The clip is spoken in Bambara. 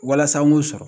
Walasa an ŋ'o sɔrɔ